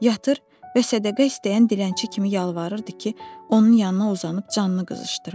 Yatır və sədəqə istəyən dilənçi kimi yalvarırdı ki, onun yanına uzanıb canını qızışdırım.